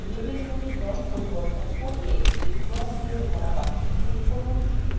লেবেলগুলির রঙ পরিবর্তন করতে রং দিয়ে ভরা box click করুন